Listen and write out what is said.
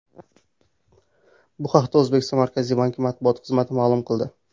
Bu haqda O‘zbekiston Markaziy banki matbuot xizmati ma’lum qildi .